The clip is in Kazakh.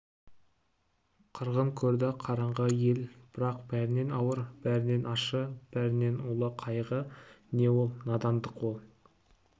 қырғын көрді қараңғы ел бірақ бәрінен ауыр бәрінен ащы бәрінен улы қайғы не ол надандық ол